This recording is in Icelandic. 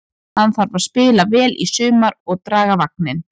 Hann þarf að spila vel í sumar og draga vagninn.